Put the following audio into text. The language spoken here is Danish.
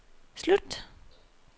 slut